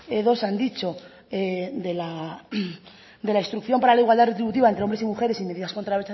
dos han dicho de la instrucción para la igualdad retributiva entre hombres y mujeres y medidas contra